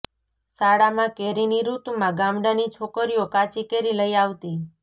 શાળામાં કેરીની ઋતુમાં ગામડાની છોકરીઓ કાચી કેરી લઇ આવતી